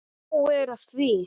Og nóg er af því.